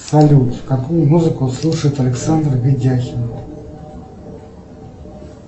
салют какую музыку слушает александр годяхин